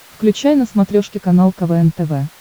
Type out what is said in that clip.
включай на смотрешке канал квн тв